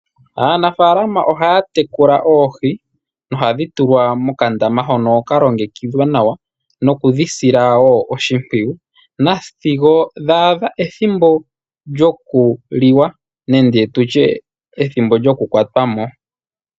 Aanafaalama ohaya tekula oohi nohadhi tulwa mokandama hono kalongekidhwa nawa nokudhi sila wo oshimpwiyu sigo dha adha ethimbo lyokuliwa nenge tu tye ethimbo lyokukwatwa mo.